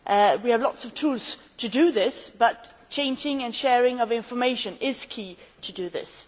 We have lots of tools to do so, but changing and sharing of information is key to doing this.